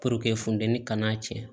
funteni kana cɛ